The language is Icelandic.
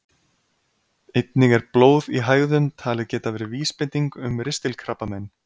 Einnig er blóð í hægðum talið geta verið vísbending um ristilkrabbamein.